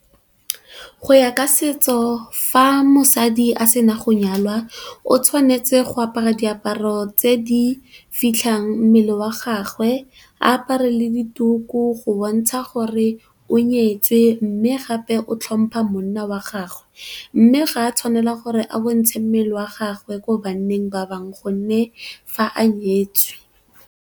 Go ya ka setso fa mosadi a sena go nyalwa, o tshwanetse go apara diaparo tse di fitlhang mmele wa gagwe, a apare le dituku go bontsha gore o nyetswe mme gape o tlhompa monna wa gagwe. Mme ga a tshwanela gore a bontshe mmele wa gagwe ko banneng ba bangwe gonne fa a nyetswe.